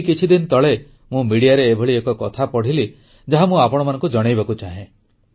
ଏଇ କିଛିଦିନ ତଳେ ମୁଁ ଗଣମାଧ୍ୟମରେ ଏଭଳି ଏକ କଥା ପଢ଼ିଲି ଯାହା ମୁଁ ଆପଣମାନଙ୍କୁ ଜଣାଇବାକୁ ଚାହେଁ